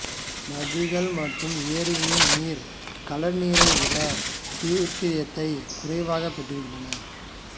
நதிகள் மற்றும் ஏரிகளின் நீர் கடல்நீரை விட டியுடீரியத்தை குறைவாகப் பெற்றிருக்கின்றன